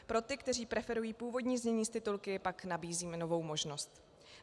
Pro ty, kteří preferují původní znění s titulky, pak nabízíme novou možnost.